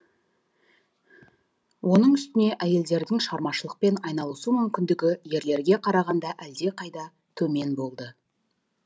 оның үстіне әйелдердің шығармашылықпен айналысу мүмкіндігі ерлерге қарағанда әлдеқайда төмен болды